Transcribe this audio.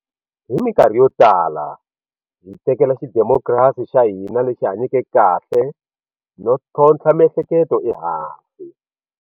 Hi mikarhi yotala hi tekela xidemokirasi xa hina lexi hanyeke kahle no ntlhontlha miehleketo ehansi.